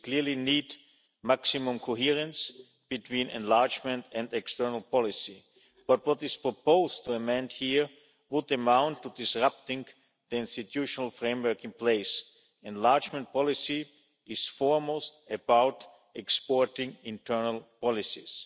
We clearly need maximum coherence between enlargement and external policy, but what is proposed to amend here would demand disrupting the institutional framework in place. Enlargement policy is first and foremost about exporting internal policies.